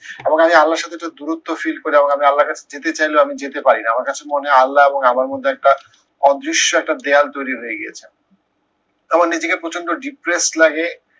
এখন আমি আল্লাহর সাথে একটু দূরত্ব feel করি এবং আমি আল্লাহর কাছে যেতেও চাইলে আমি যেতে পারি না। আমার কাছে মনে হয় আল্লাহ এবং আমার মধ্যে একটা অদৃশ্য একটা দেয়াল তৈরী হয়ে গেছে। তখন নিজেকে প্রচন্ড depressed লাগে